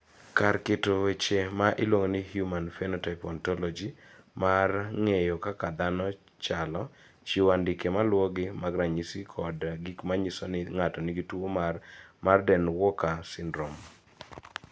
Kar keto weche ma iluongo ni Human Phenotype Ontology mar ng�eyo kaka dhano chalo, chiwo andike ma luwogi mag ranyisi kod gik ma nyiso ni ng�ato nigi tuo mar Marden Walker syndrome.